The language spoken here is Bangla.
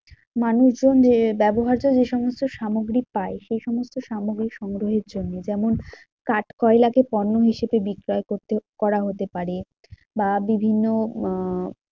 মানুষজন যে ব্যবহার্য যে সমস্ত সামগ্রিক পাই, সে সমস্ত সামগ্রিক সংগ্রহের জন্যে। যেমন কাঠকয়লা কে পণ্য হিসেবে বিক্রয় করতে করা হতে পারে বা বিভিন্ন আহ